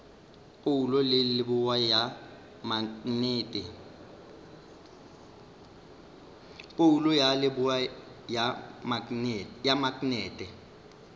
phoulo ya leboa ya maknete